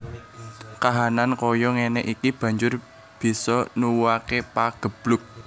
Kahanan kaya ngéné iki banjur bisa nuwuhaké pageblug